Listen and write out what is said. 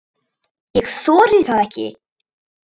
Ég þori það ekki.